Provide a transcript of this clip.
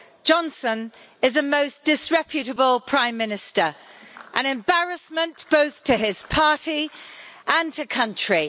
Johnson is a most disreputable Prime Minister, and an embarrassment both to his party and to country.